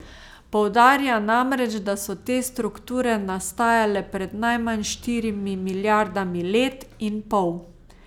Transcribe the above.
Poudarja namreč, da so te strukture nastajale pred najmanj štirimi milijardami let in pol.